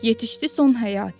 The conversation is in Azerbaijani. Yetişdi son həyatı.